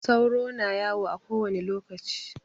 Sauro na yawo a kowani lokaci.